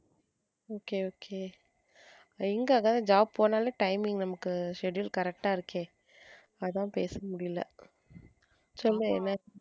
okay okay எங்க அதான் job போனாலே timing நமக்கு schedule correct ஆ இருக்கே அதா பேச முடியல, சொல்லு என்ன?